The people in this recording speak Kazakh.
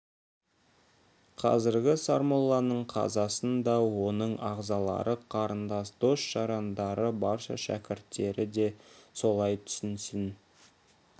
қазіргі сармолланың қазасын да оның ағзалары қарындас дос-жарандары барша шәкірттері солай түсінсін